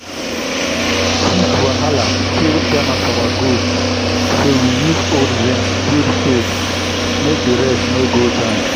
heat wahala kill ten of our goat so we use old zinc build shade make the rest no go join.